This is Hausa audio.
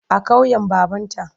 A ƙauyen babanta.